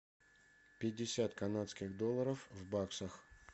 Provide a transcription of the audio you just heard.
пятьдесят канадских долларов в баксах